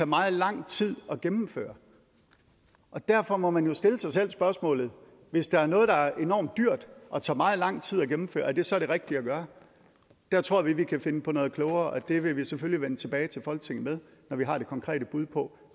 meget lang tid at gennemføre og derfor må man jo stille sig selv spørgsmålet hvis det er noget der er enormt dyrt og tager meget lang tid at gennemføre er det så det rigtige at gøre der tror vi at vi kan finde på noget klogere og det vil vi selvfølgelig vende tilbage til folketinget med når vi har det konkrete bud på